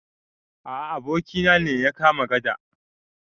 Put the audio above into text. A a, abokina ne ya kama gada.